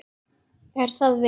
Er það vel.